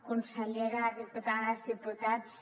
consellera diputades diputats